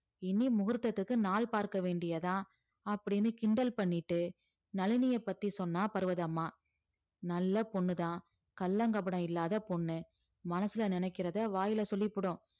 இனி முகூர்த்தத்துக்கு நாள் பார்க்க வேண்டியதான் அப்படின்னு கிண்டல் பண்ணிட்டு நளினிய பத்தி சொன்னா பர்வதம்மா நல்ல பொண்ணுதான் கள்ளம் கபடம் இல்லாத பொண்ணு மனசுல நினைக்கிறத வாயில சொல்லிப்புடும்